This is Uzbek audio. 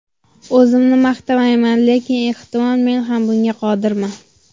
O‘zimni maqtamayman, lekin ehtimol men ham bunga qodirman.